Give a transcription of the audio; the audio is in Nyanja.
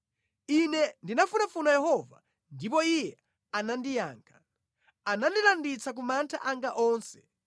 Ine ndinafunafuna Yehova ndipo Iye anandiyankha; anandilanditsa ku mantha anga onse.